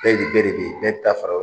FɛɛN NIN bɛɛ de bɛ yen fara la